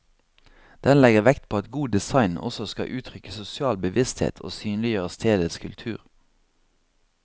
Den legger vekt på at god design også skal uttrykke sosial bevissthet og synliggjøre stedets kultur.